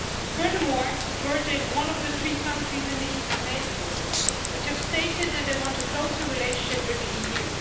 Furthermore, Georgia is one of the three countries in the eastern neighbourhood which have stated that they want a closer relationship with the EU.